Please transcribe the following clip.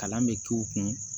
Kalan bɛ k'u kun